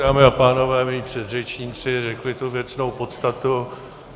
Dámy a pánové, mí předřečníci řekli tu věcnou podstatu.